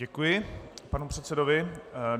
Děkuji panu předsedovi.